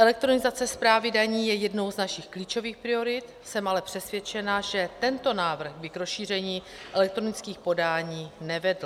Elektronizace správy daní je jednou z našich klíčových priorit, jsem ale přesvědčena, že tento návrh by k rozšíření elektronických podání nevedl.